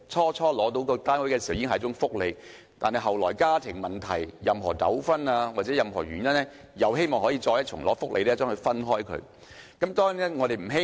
當初獲編配單位已是一種福利，但後來因為家庭問題、糾紛或其他原因，希望可以再次得到"分戶"的福利。